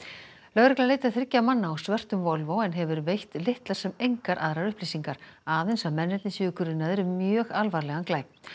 lögregla leitar þriggja manna á svörtum Volvo en hefur veitt litlar sem engar aðrar upplýsingar aðeins að mennirnir séu grunaðir um mjög alvarlegan glæp